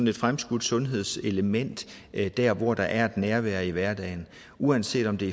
et fremskudt sundhedselement der hvor der er et nærvær i hverdagen uanset om det